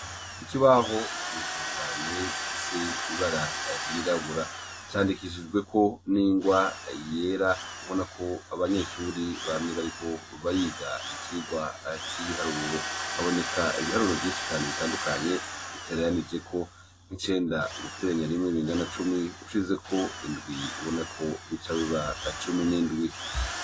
ikibaho ukirekera cyane gifise ibara ryirabura candikishijwe ko n'ingwa yera ubona ko abanyeshuri bamye bariko bariga icigwa c'ibiharuro haboneka ibiharuro byinshi cyane bitandukanye bitariranije ko nk'icenda guteranya rimwe bingana cumi ushize ko indwi ubona ko bica biba cumi n'indwi